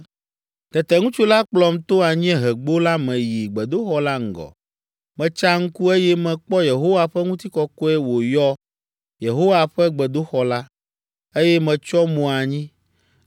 Tete ŋutsu la kplɔm to anyiehegbo la me yi gbedoxɔ la ŋgɔ. Metsa ŋku, eye mekpɔ Yehowa ƒe ŋutikɔkɔe wòyɔ Yehowa ƒe gbedoxɔ la, eye metsyɔ mo anyi.